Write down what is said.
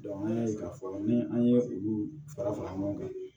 an y'a ye k'a fɔ ni an ye olu fara fara ɲɔgɔn kan